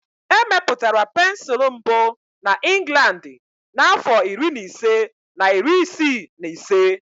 Emepụtara pensụl mbụ na Inglandi n'afọ iri na ise na iri isii na ise.